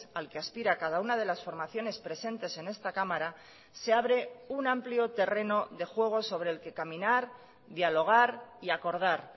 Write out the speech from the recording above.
al que aspira cada una de las formaciones presentes en esta cámara se abre un amplio terreno de juego sobre el que caminar dialogar y acordar